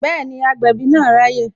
Bẹẹni, agbẹ̀bí náà raye